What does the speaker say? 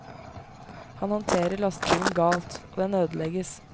Han håndterer lastebilen galt, og den ødelegges.